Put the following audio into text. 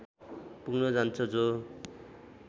पुग्न जान्छ जो